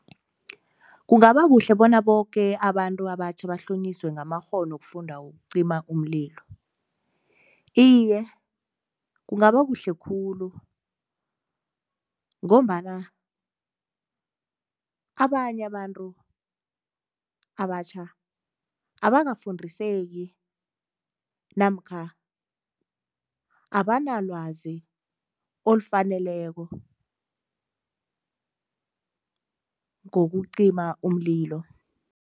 Kungabakuhle bona boke abantu abatjha bahlonyiswe ngamakghono wokufunda wokucima umlilo. Iye, kungaba kuhle khulu ngombana abanye abantu abatjha abakafundiseki namkha abanalwazi olufaneleko ngokucima umlilo.